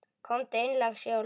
Komdu inn, lagsi, og lokaðu!